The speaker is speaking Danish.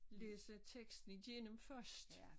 Læse teksten igennem først